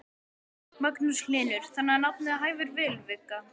Magnús Hlynur: Þannig að nafnið hæfir vel, Vigga?